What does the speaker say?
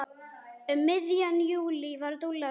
Um miðjan júlí var Dúlla litla skírð.